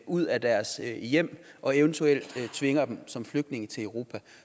ud af deres hjem og eventuelt tvinger dem som flygtninge til europa